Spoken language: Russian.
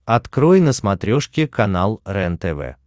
открой на смотрешке канал рентв